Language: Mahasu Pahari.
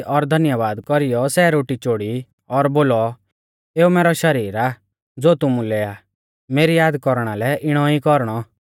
और धन्यबाद कौरीयौ सै रोटी चोड़ी और बोलौ एऊ मैरौ शरीर आ ज़ो तुमुलै आ मेरी याद कौरना लै इणौ ई कौरणौ